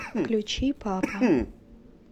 включи папа